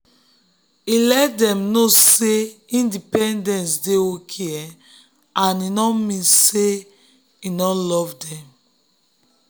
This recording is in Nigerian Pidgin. e let dem know say independence dey okay and e no mean say e no love dem.